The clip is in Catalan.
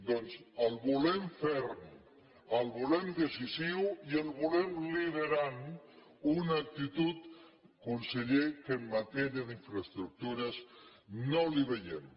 doncs el volem ferm el volem decisiu i el volem liderant una actitud conseller que en matèria d’infraestructures no la hi veiem